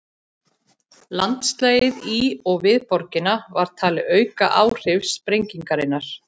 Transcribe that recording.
Landslagið í og við borgina var talið auka áhrif sprengingarinnar.